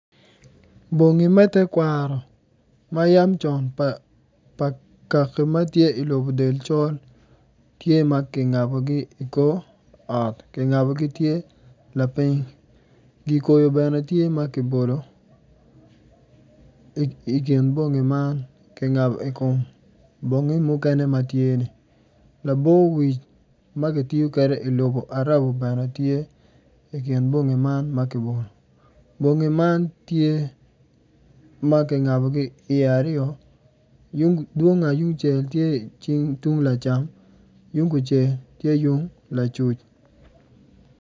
Bongi me twekwaro ma yam conpa kaki ma tye i lobo del col tye ma kingabogi i kor ot kingabogi tye lapiny gi koyo bene tye ma kibolo i kin bongi man kingabo i kom bongi mukene ma tye ni labowic ma kitiyo kwede i lobo arabo bene tye i mkin bongi man ma kimoyo bongi man tye ma kingabogi iye aryo dwong ayungcel tye i cingi tung lacam yung kucel tye yung lacuc.